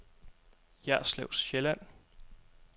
Jerslev Sjælland